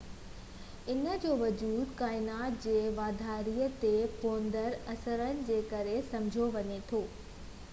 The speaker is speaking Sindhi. ان جو وجود ڪائنات جي واڌاري تي پوندڙ اثرن جي ڪري سمجهيو وڃي ٿو